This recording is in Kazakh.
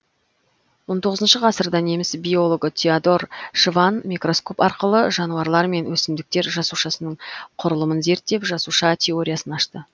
он тоғызыншы ғасырда неміс биологы теодор шванн микроскоп арқылы жануарлар мен өсімдіктер жасушасының құрылымын зерттеп жасуша теориясын ашты